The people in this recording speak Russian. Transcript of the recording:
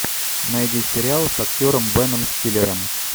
найди сериал с актером беном стиллером